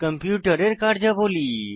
কম্পিউটারের কার্যাবলী